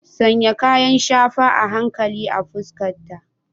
Sanya kayan shafa a hankali a fuskata.